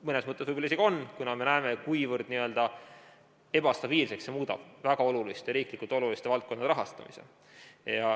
Mõnes mõttes võib-olla isegi on, kuna me näeme, kuivõrd ebastabiilseks see muudab väga oluliste, riiklikult oluliste valdkondade rahastamise.